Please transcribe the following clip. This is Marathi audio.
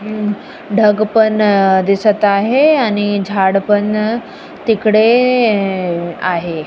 ढंग पण दिसत आहे आणि झाड पण तिकडे आहे.